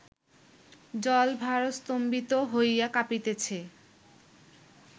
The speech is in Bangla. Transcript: জলভারস্তম্ভিত হইয়া কাঁপিতেছে